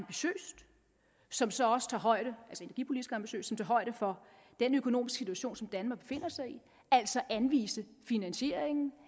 som så også tager højde for den økonomiske situation som danmark befinder sig i altså anvise finansieringen